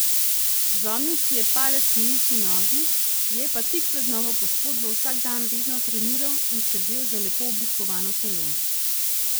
Zlomil si je palec na isti nogi, je pa tik pred novo poškodbo vsak dan redno treniral in skrbel za lepo oblikovano telo.